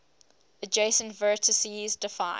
adjacent vertices define